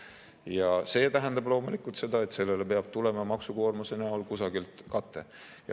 Ja see tähendab loomulikult seda, et sellele peab tulema maksukoormuse näol kusagilt kate.